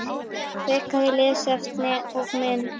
Frekara lesefni og mynd